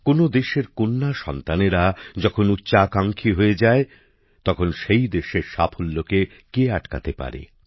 কোন দেশের কন্যা সন্তানেরা যখন উচ্চাকাঙ্ক্ষী হয়ে যায় তখন সেই দেশের সাফল্যকে কে আটকাতে পারে